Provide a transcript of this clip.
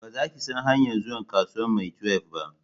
Ba za ki san hanyan zuwa kasuwan maitwef ba